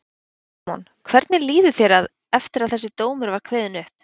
Símon: Hvernig líður þér að, eftir að þessi dómur var kveðinn upp?